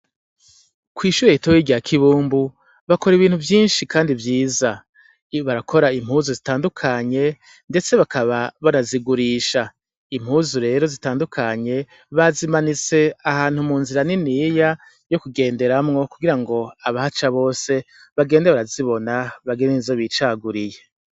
Kw'ishure ritoyi rya kibumbu bakora ibintu vynshi kandi vyiza, barakora impuzu zitandukanye ndetse bakaba banazigurisha, impuzu rero zitandukanye bazimanitse ahantu mu nzira niniya yo kugenderamwo kugira ngo abahaca bose bagende barazibona bagire n'izo bicaguriye.